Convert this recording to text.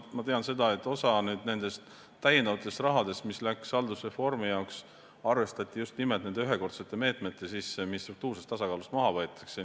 Ma tean, et osa täiendavast rahast, mis läks haldusreformi jaoks, arvestati just nimelt nende ühekordsete meetmete sisse, mis struktuursest tasakaalust maha võetakse.